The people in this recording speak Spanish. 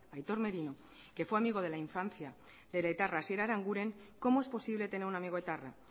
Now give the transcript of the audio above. aitor merino que fue amigo de la infancia del etarra asier aranguren cómo es posible tener un amigo etarra